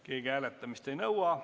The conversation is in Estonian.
Keegi hääletamist ei nõua.